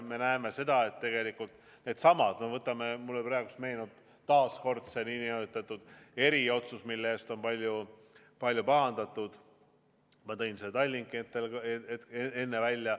No mulle meenub praegu taas see nn eriotsus, mille pärast on palju pahandatud, ma tõin selle Tallinki enne välja.